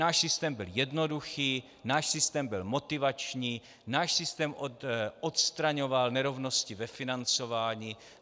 Náš systém byl jednoduchý, náš systém byl motivační, náš systém odstraňoval nerovnosti ve financování.